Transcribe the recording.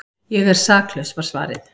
Ég er saklaus var svarið.